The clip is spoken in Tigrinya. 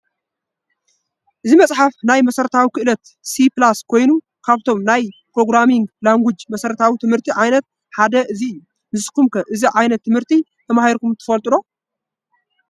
እቲ መፅሓፍ ናይ መሰረታዊ ኽእለት C++ ኮይኑ ካብቶም ናይ ኘሮግራሚንግ ላንጉጅ መሰረታዊ ት/ቲ ዓይነት ሓደ እዚ እዩ፡፡ ንስኹም ከ እዚ ት/ቲ ዓይነት ተማሂርኩም ዶ ትፈልጡ?